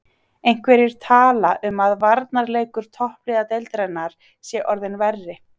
Einhverjir tala um að varnarleikur toppliða deildarinnar sé orðinn verri.